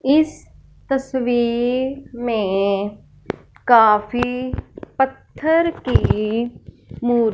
इस तस्वीर में काफी पत्थर की मूर्ति--